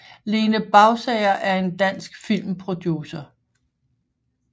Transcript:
Lene Bausager er en dansk filmproducer